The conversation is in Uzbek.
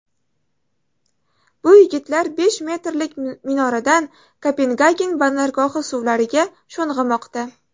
Bu yigitlar besh metrlik minoradan Kopengagen bandargohi suvlariga sho‘ng‘imoqda.